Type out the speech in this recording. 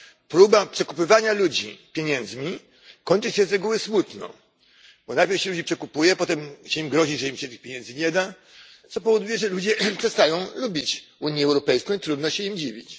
Próba przekupywania ludzi pieniędzmi kończy się z reguły smutno, bo najpierw się ludzi przekupuje, potem się grozi, że im się tych pieniędzy nie da, co powoduje, że ludzie przestają lubić Unię Europejską i trudno się im dziwić.